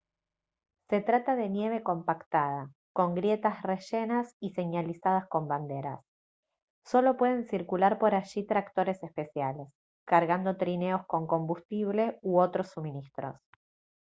se trata de nieve compactada con grietas rellenas y señalizadas con banderas solo pueden circular por allí tractores especiales cargando trineos con combustible u otros suministros